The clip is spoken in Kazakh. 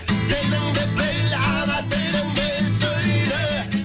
еліңді біл ана тіліңде сөйле